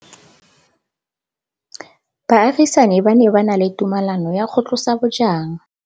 Baagisani ba ne ba na le tumalanô ya go tlosa bojang.